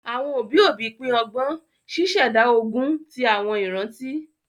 Àwọn òbí òbí pin ọgbọn, ṣíṣẹ̀dá ogún ti àwọn ìrántí